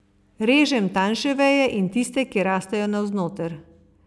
Režem tanjše veje in tiste, ki rastejo navznoter.